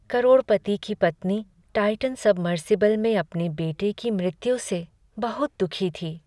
करोड़पति की पत्नी Titan submersible में अपने बेटे की मृत्यु से बहुत दुखी थी।